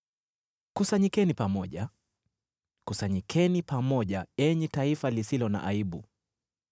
Kusanyikeni pamoja, kusanyikeni pamoja, enyi taifa lisilo na aibu,